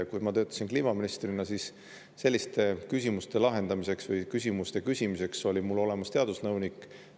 Kui ma töötasin kliimaministrina, siis selliste küsimuste lahendamiseks või küsimuste küsimiseks oli mul olemas teadusnõunik.